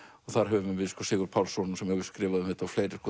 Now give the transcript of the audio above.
þar höfum við Sigurð Pálsson sem hefur skrifað um þetta og fleiri